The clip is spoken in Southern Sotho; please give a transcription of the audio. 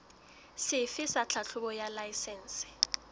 sefe sa tlhahlobo ya laesense